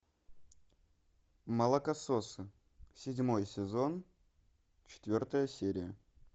молокососы седьмой сезон четвертая серия